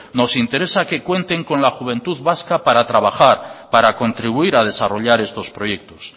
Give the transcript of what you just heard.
nos interesa que cuenten con la juventud vasca para trabajar para contribuir a desarrollar estos proyectos